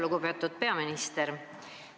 Lugupeetud peaminister!